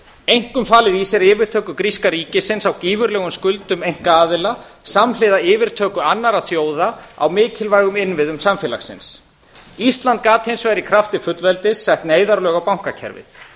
einkum falið í sér yfirtöku gríska ríkisins á gífurlegum skuldum einkaaðila samhliða yfirtöku annarra þjóða á mikilvægum innviðum samfélagsins ísland gat hins vegar í krafti fullveldis sett neyðarlög á bankakerfið